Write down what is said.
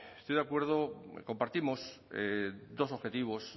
estoy de acuerdo compartimos dos objetivos